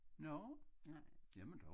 Nå? Jamen dog